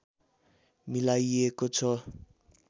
मिलाइएको छ